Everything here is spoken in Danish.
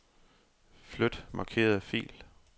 Flyt markerede fil.